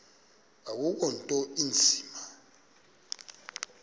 akukho nto inzima